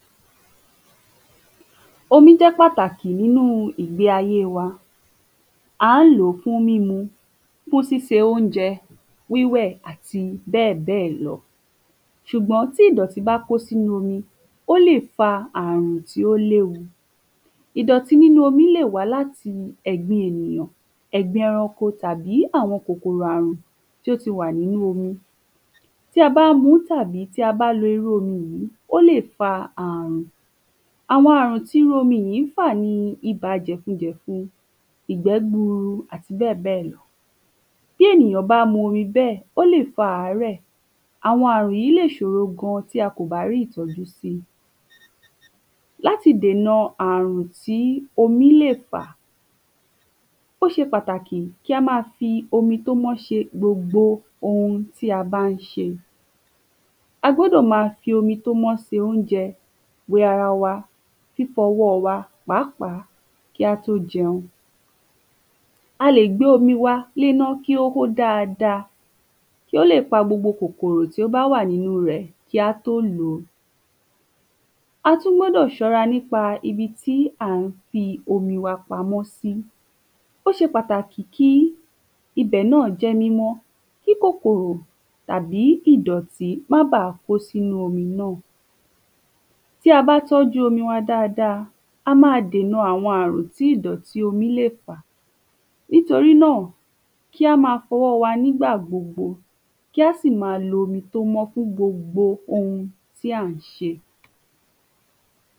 omí jẹ́ pàtàkì nínu ìgbe ayé, à ń lòó fún mímu, fún ṣíṣe oúnjẹ, wíwẹ̀ àti bẹ́ẹ̀ bẹ́ẹ̀ lọ ṣùgbọ́n tí ìdọ̀tí bá kó sínu omi, ó lè fa àrùn tí ó léwu ìdọ̀tí nínu omi ó lè wá láti ẹ̀gbin ènìyàn, ẹ̀gbin ẹranko tàbí àwọn kòkòrò àrùn tó ti wà nínu omi, tí a bá mu tàbí tí a bá lo irú omi yìí ó lè fa àrùn, àwọn àrùn ti omi yìí fà ni ibà jẹ̀fun jẹ̀fun, ìgbẹ́ gbuuru, àti bẹ́ẹ̀ bẹ́ẹ̀ lọ bí ènìyàn bá mu omi bẹ́ẹ̀ ó lè fa àárẹ̀, àwọn àrùn yìí lè ṣòro gan tí a ò bá rí ìtọ́jú síi láti dèna àrùn tí omi lè fà ó ṣe pàtàkì kí á máa lo omi tó mọ́ fi ṣe gbogbo ohun tí a bá ń ṣe a gbọ́dọ máa fi omi tó mọ́ ṣe oúnjẹ, wẹ ara wa, fífọ ọwọ wa pàápàá kí á tó jẹun a lè gbé omi wa léná kó hó dáadáa kí ó lè pa gbogbo kòkòrò tí ó bá wà nínu rẹ̀ kí a tó lo a tún gbọ́dọ̀ ṣọ́ra nípa ibi tí a gbé omi wa pamọ́ sí, ó ṣe pàtàkì kí ibẹ̀ náà jẹ́ mímọ́ kí kòkòrò tàbí ìdọ̀tí kó má bá kósi inú omi náà tí a bá tọ́ju omi wa dáadáa a máa dèna àrùn tí ìdọ̀ti omí lè fà nítorí náà ká máa fọwọ wa nígbà gbogbo ká sì máa lo omi tó mọ́ fún gbogbo ohun tí à ń ṣe